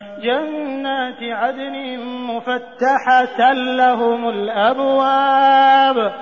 جَنَّاتِ عَدْنٍ مُّفَتَّحَةً لَّهُمُ الْأَبْوَابُ